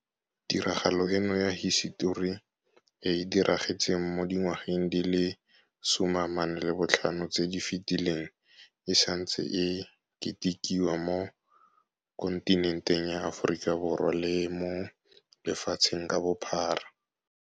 Tiragalo eno ya hisetori e e diragetseng mo dingwageng di le 45 tse di fetileng e santse e ketikiwa mo kontinenteng ya Aforika le mo lefatsheng ka bophara.